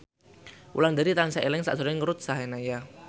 Wulandari tansah eling sakjroning Ruth Sahanaya